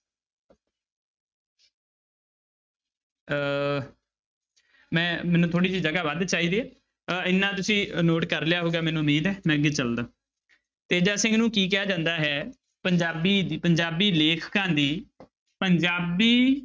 ਅਹ ਮੈਂ ਮੈਨੂੰ ਥੋੜ੍ਹੀ ਜਿਹੀ ਜਗ੍ਹਾ ਵੱਧ ਚਾਹੀਦੀ ਅਹ ਇੰਨਾ ਤੁਸੀਂ note ਕਰ ਲਿਆ ਹੋਊਗਾ ਮੈਨੂੰ ਉਮੀਦ ਹੈ ਮੈਂ ਅੱਗੇ ਚੱਲਦਾ, ਤੇਜਾ ਸਿੰਘ ਨੂੰ ਕੀ ਕਿਹਾ ਜਾਂਦਾ ਹੈ ਪੰਜਾਬੀ ਦ~ ਪੰਜਾਬੀ ਲੇਖਕਾਂ ਦੀ ਪੰਜਾਬੀ